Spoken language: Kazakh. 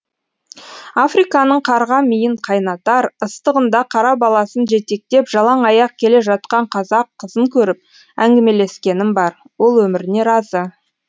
африканың қарға миын қайнатар ыстығында қара баласын жетектеп жалаң аяқ келе жатқан қазақ қызын көріп әңгімелескенім бар ол өміріне разы